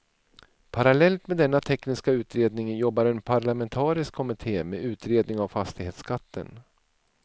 Parallellt med denna tekniska utredning jobbar en parlamentarisk kommitté med utredning av fastighetsskatten.